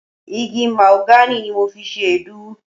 Igi Mahogany ni mo fi ṣe Èédú.